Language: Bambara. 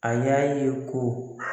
A y'a ye ko.